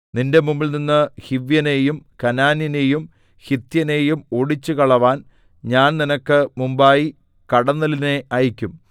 നിന്റെ മുമ്പിൽനിന്ന് ഹിവ്യനെയും കനാന്യനെയും ഹിത്യനെയും ഓടിച്ചുകളവാൻ ഞാൻ നിനക്ക് മുമ്പായി കടന്നലിനെ അയയ്ക്കും